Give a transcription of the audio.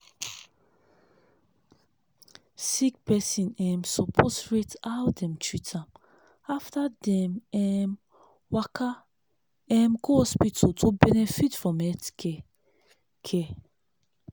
sick person um suppose rate how dem treat am after dem um waka um go hospital to benefit from health care. care.